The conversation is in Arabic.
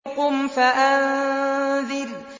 قُمْ فَأَنذِرْ